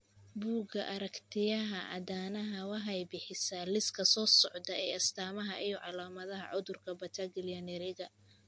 Bugga Aragtiyaha Aadanaha waxay bixisaa liiska soo socda ee astamaha iyo calaamadaha cudurka Battaglia Neriga.